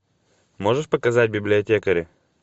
можешь показать библиотекари